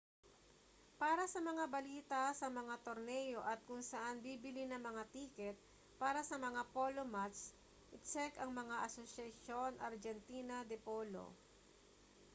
para sa mga balita sa mga torneo at kung saan bibili ng mga tiket para sa mga polo match itsek ang asociacion argentina de polo